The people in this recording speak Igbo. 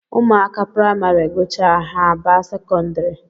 Ụmụaka praịmarị gụchaa, ha abaa sekondari